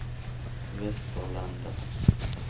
Västerlanda